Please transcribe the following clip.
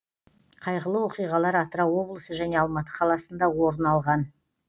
қайғылы оқиғалар атырау облысы және алматы қаласында орын алған